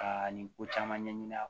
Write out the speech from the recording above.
Ka nin ko caman ɲɛɲini